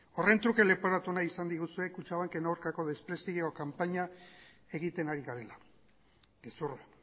horren truke leporatu nahi izan diguzue kutxabanken aurkako desprestigio kanpaina egiten ari garela gezurra